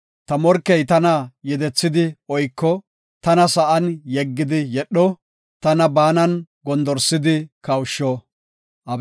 ta morkey tana yedethidi oyko; tana sa7an yeggidi yedho; tana baanan gondorsidi kawusho. Salah